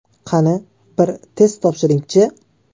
Qani, bir test topshiring-chi!